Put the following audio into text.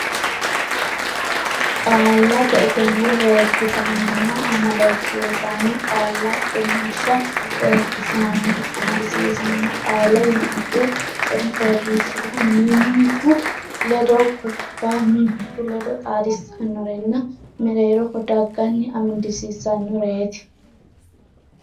Qaallate Egenno Reekkisaanonna Amadisiisaano Qaalla Qummishsha Reekkisaanonna amadisiisaano qaalla yinanniri coy fooliishshuwa mimmitu ledonna guffa mimmitu ledo xaadissannorenna mereeroho dagganni amadisiissannoreeti.